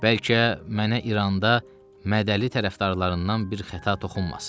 Bəlkə mənə İranda Mədəli tərəfdarlarından bir xəta toxunmasın.